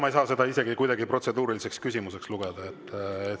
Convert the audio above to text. Ma ei saa seda kuidagi protseduuriliseks küsimuseks lugeda.